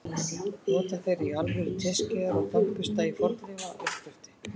Nota þeir í alvöru teskeiðar og tannbursta í fornleifauppgreftri?